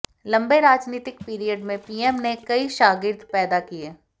लंबे राजनीतिक पीरियड में पीएम ने कई शागिर्द पैदा किए